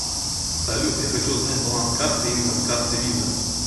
салют я хочу узнать баланс карты именно с карты виза